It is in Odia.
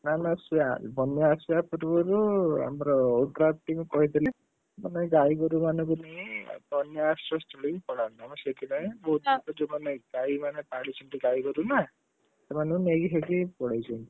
ନା ନା ସିଏ ବନ୍ୟା ଆସିବା ପୂର୍ବ ରୁ ଆମର ODRAF team କହିଥିଲେ, ମାନେ ଗାଈଗୋରୁମାନଙ୍କୁ ନେଇ ବନ୍ୟା ଆଶ୍ରୟସ୍ଥଳୀକୁ ପଳାନ୍ତୁ ଆମେ ସେଇଥିପାଇଁ ଯୋଉମାନେ ଗାଈମାନେ ପାଲିଛନ୍ତି ଗାଈଗୋରୁ ନା, ସେମାନଙ୍କୁ ନେଇକି ସେଠି ପଳେଈଛନ୍ତି।